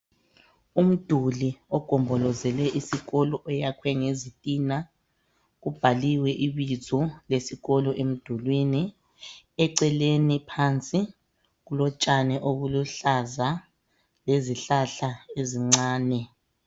Umduli ogombolozele isikolo oyakhwe ngezitina kubhaliwe ibizo lesikolo, eceleni kulotshani obuluhlaza lezihlahla ezincane.